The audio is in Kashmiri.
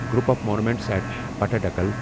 group of monuments at Pattadakal